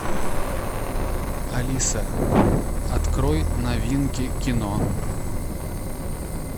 алиса открой новинки кино